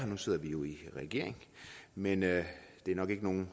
nu sidder vi jo i regering men det er nok ikke nogen